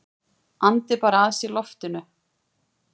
Andi bara að sér loftinu.